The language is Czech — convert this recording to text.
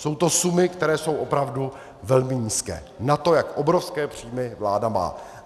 Jsou to sumy, které jsou opravdu velmi nízké na to, jak obrovské příjmy vláda má.